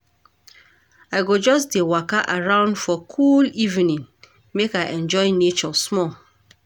I go just dey waka around for cool evening make I enjoy nature small.